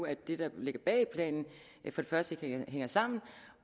at det der ligger bag planen for det første ikke hænger sammen